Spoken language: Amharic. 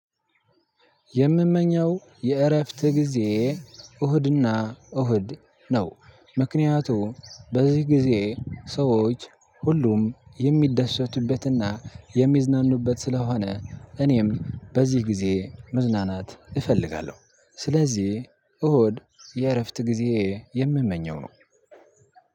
የምመኘው የእረፍት ጊዜ እሁድና እሁድ ነው ምክንያቱም በዚህ ጊዜ ሰዎች ሁሉም የሚደሰቱበትና የሚዝናኑበት ስለሆነ እኔም በዚህ ጊዜ መዝናናት እፈልጋለሁ። ስለዚህ እሁድ የእረፍት ጊዜየ የምመኘው ነው።